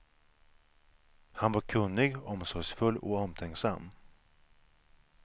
Han var kunnig, omsorgsfull och omtänksam.